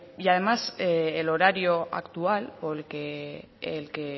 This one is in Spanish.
y además el horario actual o el que